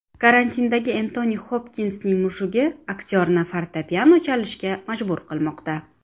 Karantindagi Entoni Xopkinsning mushugi aktyorni fortepiano chalishga majbur qilmoqda.